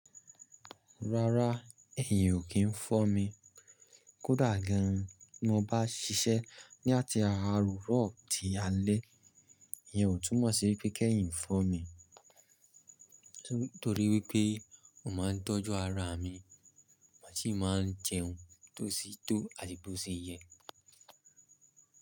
Rárá, ẹ̀yin ò kí ń fọ́ mi. Kódà gan an tí mo bá ṣiṣẹ́ ní àti ààrọ̀ tí alẹ́, ìyẹn ò túmọ̀ sí pé kí ẹ̀yin fọ́ mi. Nítorí wípé mo máa ń tọ́jú ara mi, màá sì máa ń jẹun tó sì tó àtì bò ṣe yẹ.